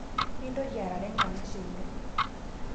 Mintoki arare nkanashe ino